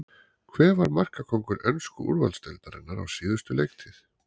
Hver var markakóngur ensku úrvalsdeildarinnar á síðustu leiktíð?